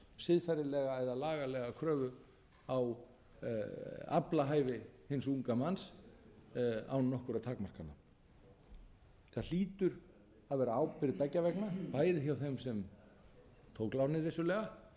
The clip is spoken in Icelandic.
siðferðilega eða lagalega kröfu á aflahæfi hins unga manns án nokkurra takmarkana það hlýtur að vera ábyrgð beggja vegna bæði hjá þeim sem tók lánið vissulega en